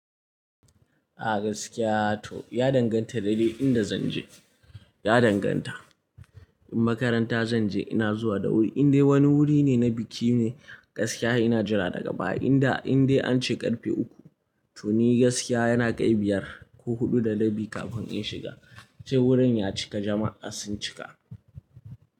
A gaskiya to ya danganta da dai inda zanje. Ya danganta. In makaranta zanje ina zuwa da wuri, indai wani wuri ne na biki ne gaskiya ina jira daga baya. Inda indai ance ƙarfe uku to ni gaskiya yana kai biyar ko huɗu da rabi kafin in shiga. Sai wurin ya cika jama'a sun cika.